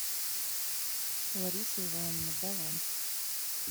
лариса ивановна баланс